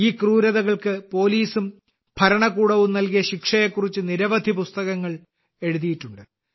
ഈ ക്രൂരതകൾക്ക് പോലീസും ഭരണകൂടവും നൽകിയ ശിക്ഷയെക്കുറിച്ച് നിരവധി പുസ്തകങ്ങൾ എഴുതിയിട്ടുണ്ട്